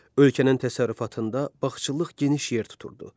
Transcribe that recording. Ölkənin təsərrüfatında bağçılıq geniş yer tuturdu.